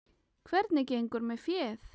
Hvernig gengur með féð?